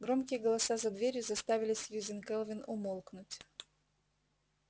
громкие голоса за дверью заставили сьюзен кэлвин умолкнуть